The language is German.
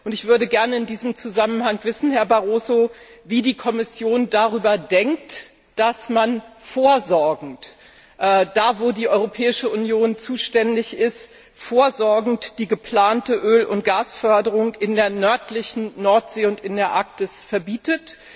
Ich würde gerne in diesem Zusammenhang wissen, Herr Barroso, wie die Kommission darüber denkt, dass man da, wo die Europäische Union zuständig ist, vorsorgend die geplante Öl und Gasförderung in der nördlichen Nordsee und in der Arktis verbietet.